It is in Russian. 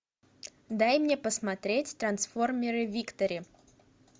дай мне посмотреть трансформеры виктори